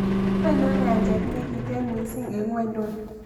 Ainon Ny'aancheet negiiten miising eng' ng'wonyduni